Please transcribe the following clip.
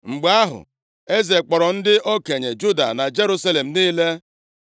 Mgbe ahụ, eze kpọrọ ndị okenye Juda na Jerusalem niile.